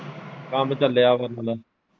ਕੰਮ ਚੱਲਿਆ ਫਿਰ ਉਹਨਾਂ ਦਾ।